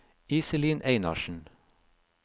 Iselin Einarsen